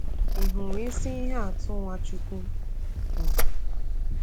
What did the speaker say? Ị hụrụ isi ihe atụ Nwachukwu um